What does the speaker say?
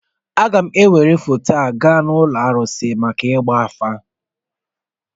Aga m ewere foto a gaa n'ụlọ arụsị maka ịgba afa